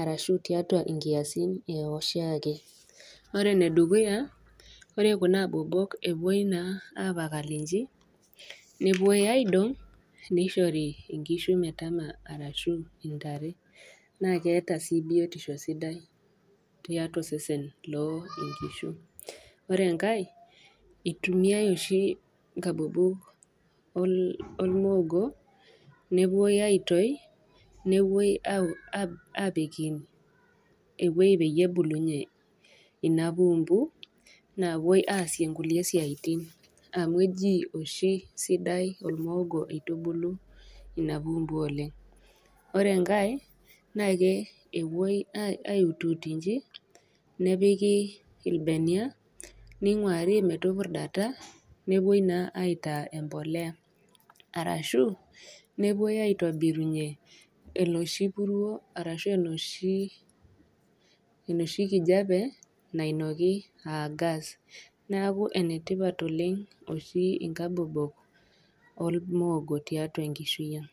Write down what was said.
arashu tiatua inkiasin e oshiake, ore ene dukuya, ore kuna abobok naa epuoi naa apakal inchi, nepuoi aidong' neishori inkishu metama arashu intare, naa keata sii biotisho sidai tiatua osesen loo inkishu. Ore enkai, eitumiyai oshi inkabobok olmoogo, nepuoi aitoi, nepuoi apiki ewueji peyie ebulunye inapumbu, naapuoi aasie inkulie siaitin, aamu eji oshi sidai olmoogo, eitubulu inapuumbu oleng'. Ore enkai naa epuoi aiutuut inji, nepiki ilbenia, neing'uari metupurdata, nepuoi naa aitaa empolea. Arashu epuoi naa aitobirunye enooshi puruo arashu enooshi kijape nainoki aa gas, neaku ene tipat oleng' oshi inkabobok olmoogo tiatua enkishui aang'.